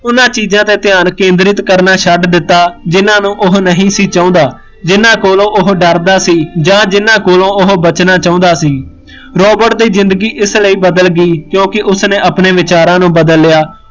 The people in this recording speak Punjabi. ਉਹਨਾਂ ਚੀਜ਼ਾ ਤੇ ਧਿਆਨ ਕੇਂਦਰਿਤ ਕਰਨਾ ਛੱਡ ਦਿੱਤਾ, ਜਿਹਨਾਂ ਨੂੰ ਉਹ ਨਹੀਂ ਸੀ ਚਾਹੁੰਦਾ, ਜਿਹਨਾਂ ਕੋਲੋਂ ਉਹ ਡਰਦਾ ਸੀ ਜਾਂ ਜਿਨਾਂ ਕੋਲੋਂ ਉਹ ਬਚਣਾ ਚਾਹੁੰਦਾ ਸੀ, ਰੋਬਰਟ ਦੀ ਜ਼ਿੰਦਗੀ ਇਸ ਲਈ ਬਦਲ ਗਈ ਕਿਓਕਿ ਉਸਨੇ ਆਪਣੇ ਵਿਚਾਰਾ ਨੂੰ ਬਦਲ ਲਿਆ